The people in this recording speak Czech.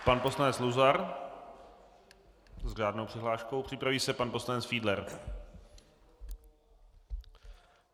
Pan poslanec Luzar s řádnou přihláškou, připraví se pan poslanec Fiedler.